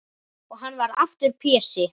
Og hann varð aftur Pési.